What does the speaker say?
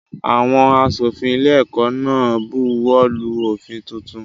Àwọn aṣòfin ilé-ẹ̀kọ́ náà buwọ́lù òfin tuntun.